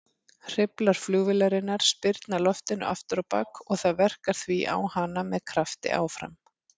Hreyflar flugvélarinnar spyrna loftinu afturábak og það verkar því á hana með krafti áfram.